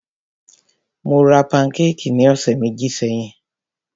Mó rá pankékì ní ọ̀sẹ̀ méjì sẹ́yìn.